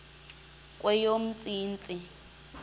kweyomntsintsi